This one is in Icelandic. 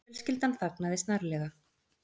Fjölskyldan þagnaði snarlega.